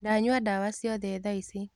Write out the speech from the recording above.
Ndanyua dawa ciothe thaici.